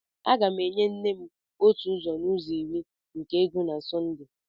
M ga-enye nne m otu ụzọ n'ụzọ iri nke ego na Sunday.